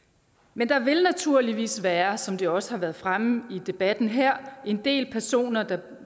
men der vil naturligvis være som det også har været fremme i debatten her en del personer der